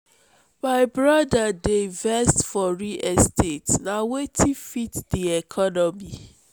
my broda dey invest for real estate na wetin fit dis economy.